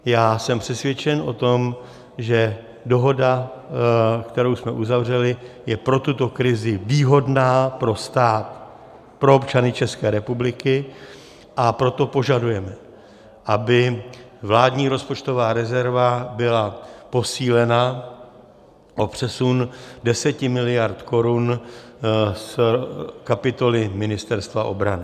Já jsem přesvědčen o tom, že dohoda, kterou jsme uzavřeli, je pro tuto krizi výhodná pro stát, pro občany České republiky, a proto požadujeme, aby vládní rozpočtová rezerva byla posílena o přesun 10 mld. korun z kapitoly Ministerstva obrany.